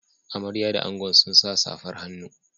Amarya da angon sun sa safar hannu.